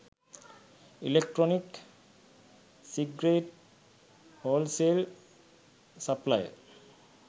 electronic cigarette wholesale supplier